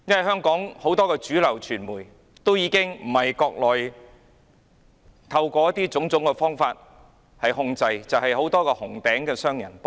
香港很多主流傳媒不是被中國當局透過種種方法控制，而是被很多協助當局的紅頂商人控制。